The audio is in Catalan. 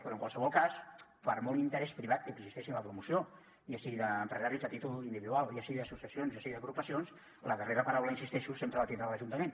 però en qualsevol cas per molt interès privat que existeixi en la promoció ja sigui d’empresaris a títol individual ja sigui d’associacions ja sigui d’agrupacions la darrera paraula hi insisteixo sempre la tindrà l’ajuntament